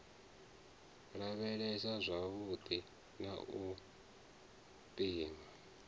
lavhelesa zwavhudi na u pima